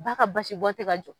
Ba ka basibɔn tɛ ka jɔ